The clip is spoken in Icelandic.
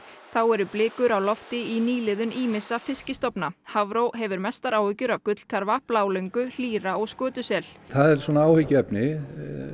þá eru blikur á lofti í nýliðun ýmissa Hafró hefur mestar áhyggjur af gullkarfa blálöngu hlýra og skötusel það er áhyggjuefni